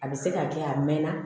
A bɛ se ka kɛ a mɛnna